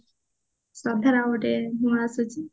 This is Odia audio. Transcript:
ଶ୍ରଦ୍ଧା ଗୋଟେ ନୂଆ ଆସିଛି